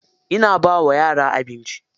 Ina ba wa yara abinci.